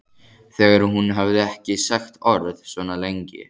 Þegar hún hafði ekki sagt orð svona lengi.